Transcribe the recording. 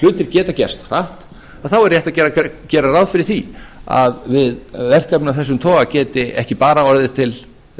hlutir geta gerst hratt er rétt að gera ráð fyrir því að við verkefni af þessum toga geti ekki bara orðið